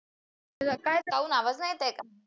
आवाज नाही येत आहे का?